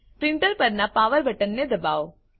printer પરનાં power બટનને દબાવો